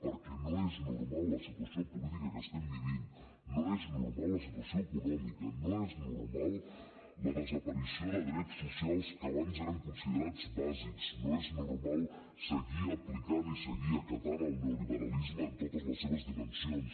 perquè no és normal la situació política que estem vivint no és normal la situació econòmica no és normal la desaparició de drets socials que abans eren considerats bàsics no és normal seguir aplicant i seguir acatant el neoliberalisme en totes les seves dimensions